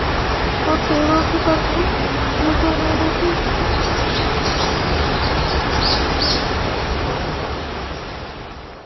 और पेड़ों की परछाई नजर आ रही --